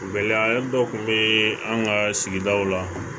Gɛlɛya dɔ tun bɛ an ka sigidaw la